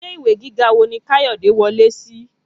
Ilé ìwé gíga wo ni Kayode wọlé sí?